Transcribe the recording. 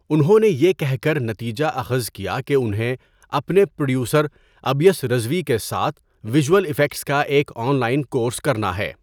انہوں نے یہ کہہ کر نتیجہ اخذ کیا کہ انہیں اپنے پروڈیوسر ابیس رضوی کے ساتھ ویجول افیکٹس کا ایک آن لائن کورس کرنا ہے۔